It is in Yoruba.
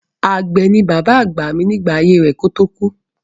Àgbẹ̀ ni bàbá àgbà mi nígbà ayé rẹ̀ kó tó kú.